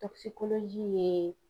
ye